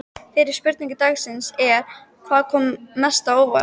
Fyrri spurning dagsins er: Hvað kom mest á óvart?